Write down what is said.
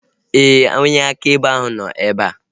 Éè, onye akaebe ahu nọ ebea